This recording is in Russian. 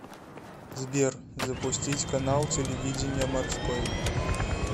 сбер запустить канал телевидения морской